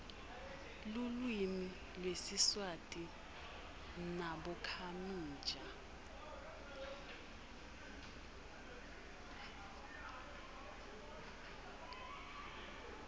lulwimi lwesiswati wnabonkhamija